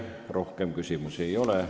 Teile rohkem küsimusi ei ole.